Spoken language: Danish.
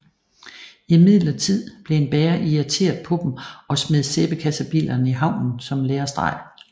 Imidlertid blev en bager irriteret på dem og smed sæbekassebilerne i havnen som en lærestreg